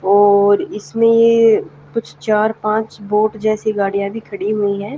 और इसमें कुछ चार पांच बोट जैसी गाड़ियां भी खड़ी हुई है।